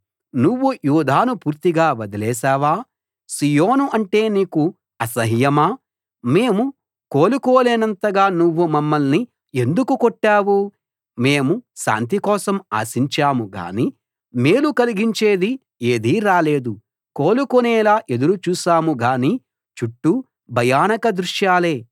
నువ్వు యూదాను పూర్తిగా వదిలేశావా సీయోను అంటే నీకు అసహ్యమా మేము కోలుకోలేనంతగా నువ్వు మమ్మల్ని ఎందుకు కొట్టావు మేము శాంతి కోసం ఆశించాం గానీ మేలు కలిగించేది ఏదీ రాలేదు కోలుకునేలా ఎదురు చూశాం గానీ చుట్టూ భయానక దృశ్యాలే